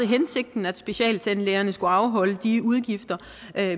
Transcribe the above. hensigten at specialtandlægerne skulle afholde de udgifter